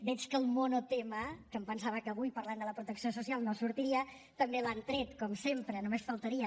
veig que el monotema que em pensava que avui parlant de la protecció social no sortiria també l’han tret com sempre només faltaria